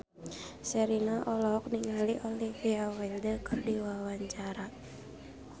Sherina olohok ningali Olivia Wilde keur diwawancara